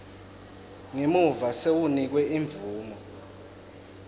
ngemuva sewunikwe imvumo